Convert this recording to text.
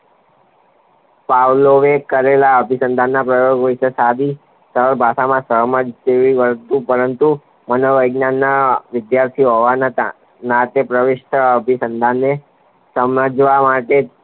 પાવલોયે કરેલા અભિસન્ધાનના પ્રયોગ વિશે સરળ ભાષામાં સહમત જેવી વસ્તુ પરંતુ માનોવૈજ્ઞાનના વિદ્યાર્થીઓ નાતે પ્રવિષ્ટ અભિસન્ધાનને સમજવા માટે